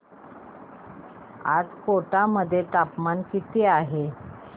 आज कोटा मध्ये तापमान किती आहे